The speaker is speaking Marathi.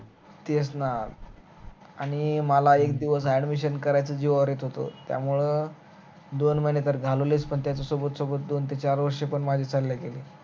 तेच ना आणि मला एक दिवस admission करायचं जीवावर येत होत त्यामुळ दोन महिने घालवलेच पण त्याच्या सोबत सोबत दोन ते चार वर्ष पण माझे चाले गेले